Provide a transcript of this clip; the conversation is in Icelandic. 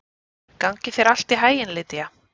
Gangi þér allt í haginn, Lýdía.